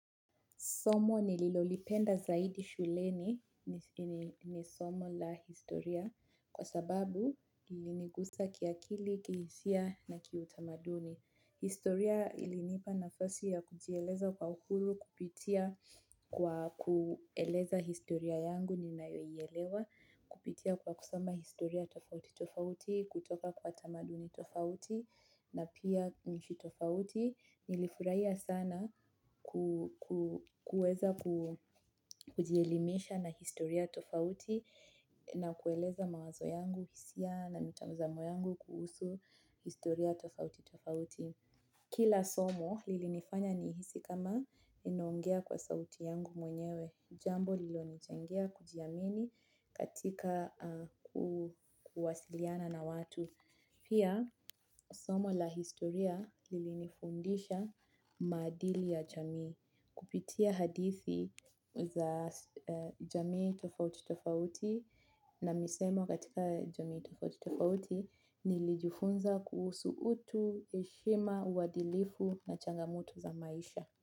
Somo nililolipenda zaidi shuleni ni somo la historia kwa sababu lilinigusa kiakili, kihisia na kiutamaduni. Historia ilinipa nafasi ya kujieleza kwa uhuru kupitia kwa kueleza historia yangu ninayoielewa, kupitia kwa kusoma historia tofauti tofauti, kutoka kwa tamaduni tofauti na pia mji tofauti. Nilifurahia sana kuweza kujielimisha na historia tofauti na kueleza mawazo yangu, hisia na mitazamo yangu kuhusu historia tofauti tofauti. Kila somo, lilinifanya nijihisi kama ninaongea kwa sauti yangu mwenyewe. Jambo lililonichangia kujiamini katika kuwasiliana na watu. Pia, somo la historia lilinifundisha maadili ya jamii. Kupitia hadithi za jamii tofauti tofauti na misemo katika jamii tofauti tofauti nilijifunza kusuhu utu, heshima, uadilifu na changamoto za maisha.